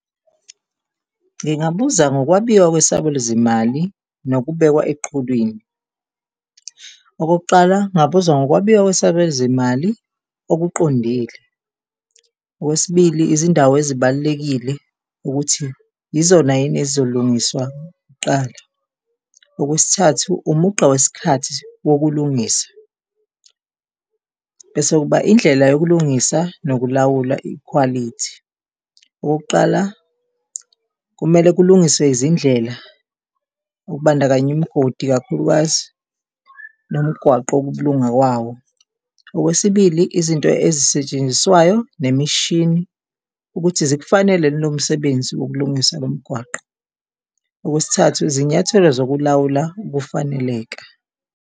Ngingabuza ngokwabiwa kwesabelo zimali nokubekwa eqhulwini. Okokuqala, ngingabuza ngokwabiwa kwesabelo zimali okuqondile. Okwesibili, izindawo ezibalulekile ukuthi yizona yini ezizolungiswa kuqala. Okwesithathu, umugqa wesikhathi wokulungisa. Bese kuba indlela yokulungisa nokulawula ikhwalithi. Okokuqala, kumele kulungiswe izindlela okubandakanya imigodi kakhulukazi nomgwaqo-ke ukulunga kwawo. Okwesibili, izinto ezisetshenziswayo nemishini ukuthi zikufanele yini lomsebenzi wokulungisa lomgwaqo. Okwesithathu, izinyathelo zokulawula ukufaneleka.